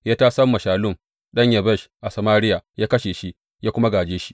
Ya tasam wa Shallum ɗan Yabesh a Samariya, ya kashe shi, ya kuma gāje shi.